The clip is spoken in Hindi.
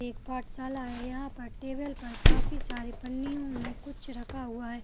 एक पाठशाला है यहाँ पर टेबल पर काफी सारे पन्नियों में कुछ रखा हुआ है।